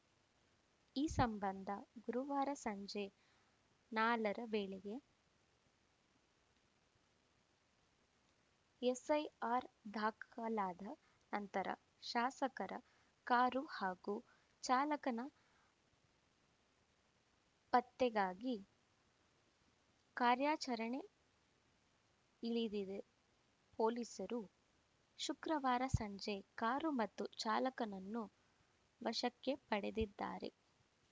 ಈ ಸಂಬಂಧ ಗುರುವಾರ ಸಂಜೆ ನಾಲರ ವೇಳೆಗೆ ಎಫ್‌ಐಆರ್‌ ದಾಖಲಾದ ನಂತರ ಶಾಸಕರ ಕಾರು ಹಾಗೂ ಚಾಲಕನ ಪತ್ತೆಗಾಗಿ ಕಾರ್ಯಾಚರಣೆ ಇಳಿದಿದ್ದ ಪೊಲೀಸರು ಶುಕ್ರವಾರ ಸಂಜೆ ಕಾರು ಮತ್ತು ಚಾಲಕನನ್ನು ವಶಕ್ಕೆ ಪಡೆದಿದ್ದಾರೆ